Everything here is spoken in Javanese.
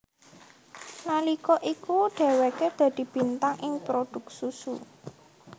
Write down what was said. Nalika iku dheweke dadi bintang ing prodhuk susu